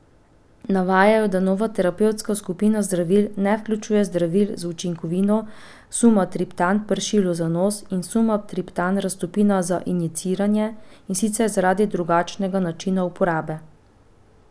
Navajajo, da nova terapevtska skupina zdravil ne vključuje zdravil z učinkovino sumatriptan pršilo za nos in sumatriptan raztopina za injiciranje, in sicer zaradi drugačnega načina uporabe.